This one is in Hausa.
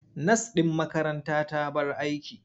Nas ɗin makaranta ta bar aiki.